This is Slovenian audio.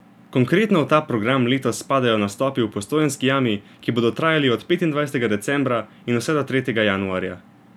Konkretno v ta program letos spadajo nastopi v Postojnski jami, ki bodo trajali od petindvajsetega decembra in vse do tretjega januarja.